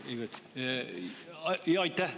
Aitäh!